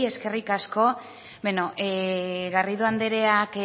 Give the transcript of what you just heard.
eskerrik asko bueno garrido andreak